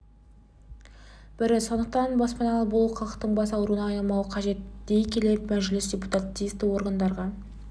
бірі сондықтан баспаналы болу халықтың бас ауруына айналмауы қажет дей келе мәжіліс депутаты тиісті органдарға